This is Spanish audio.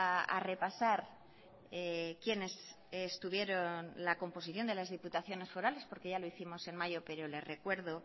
a repasar quiénes estuvieron la composición de las diputaciones forales porque ya lo hicimos en mayo pero le recuerdo